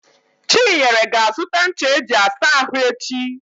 Chinyere ga-azụta ncha eji asa ahụ echi.